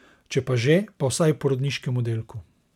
Če pa že, pa vsaj v porodniškem oddelku.